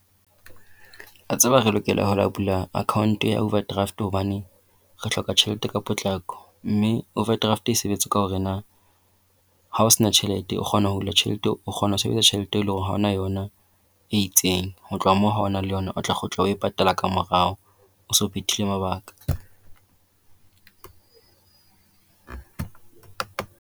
O a tseba re lokela ho ya bula account ya overdraft hobane re hloka tjhelete ka potlako, mme overdraft e sebetsa ka hore na ha o sena tjhelete o kgone ho hula tjhelete, o kgona ho sebedisa tjhelete e leng hore ha ona yona e itseng. Ho tloha moo ha o na le yona o tla kgutla o e patala ka morao, o se o phethile mabaka.